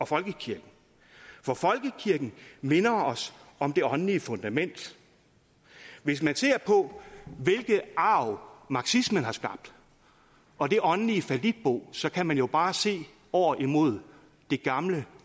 folkekirken for folkekirken minder os om det åndelige fundament hvis man ser på hvilken arv marxismen har skabt og det åndelige fallitbo så kan man jo bare se over imod det gamle